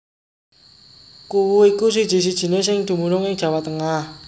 Kuwu iku siji sijiné sing dumunung ing Jawa Tengah